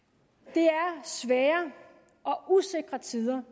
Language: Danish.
det er svære og usikre tider